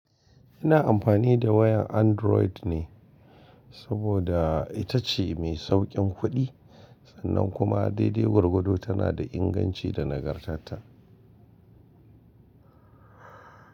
Ina amfani da wayan Android ne saboda ita ce mai sauƙin kuɗi sannan kuma daidai gwargwado tana da inganci da nagartata.